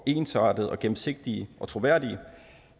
ensartede gennemsigtige og troværdige